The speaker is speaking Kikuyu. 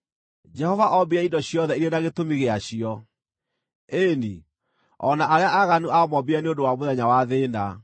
Jehova ombire indo ciothe irĩ na gĩtũmi gĩacio, ĩĩ-ni, o na arĩa aaganu aamoombire nĩ ũndũ wa mũthenya wa thĩĩna.